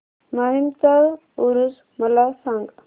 माहीमचा ऊरुस मला सांग